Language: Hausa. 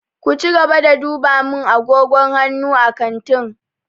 Ku cigaba da duba min agogon hannu a kantin!